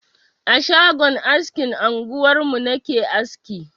A shagon askin anguwarmu na ke aski.